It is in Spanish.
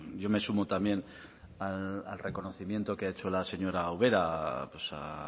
yo me sumo también al reconocimiento que ha hecho la señora ubera pues a